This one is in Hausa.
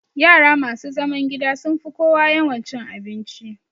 Yara masu zaman gida sun fi kowa yawan cin abinci